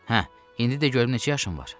Hə, indi də görüm neçə yaşın var?